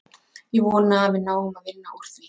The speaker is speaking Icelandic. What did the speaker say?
Ég vona að við náum að vinna úr því.